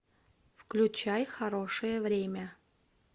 включай хорошее время